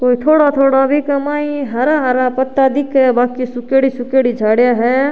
कोई धोड़ा धोड़ा के मई ने हरा हरा पत्ता दिखे है बाकि सुखेड़ी सुखेड़ी झाडिया है।